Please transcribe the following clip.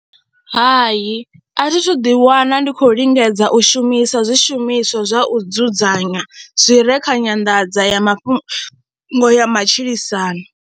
Hai, a thi thu ḓiwana ndi khou lingedza u shumisa zwishumiswa zwa u dzudzanya zwi re kha nyanḓadza mafhungo ya matshilisano.